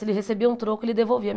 Se ele recebia um troco, ele devolvia.